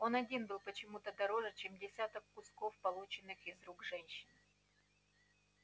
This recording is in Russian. он один был почему-то дороже чем десяток кусков полученных из рук женщин